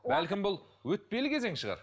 бәлкім бұл өтпелі кезең шығар